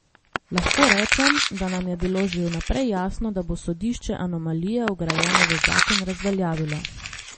Lahko rečem, da nam je bilo že vnaprej jasno, da bo sodišče anomalije vgrajene v zakon razveljavilo.